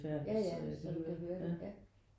Ja ja så du kan høre det ja